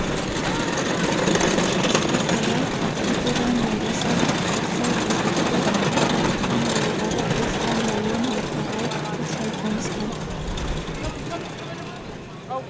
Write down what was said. ысқақ абай тәкежан майбасар ырсай ызғұтты ғабитхан ауылдары оспан ауылын ортаға алып қоршай қонысқан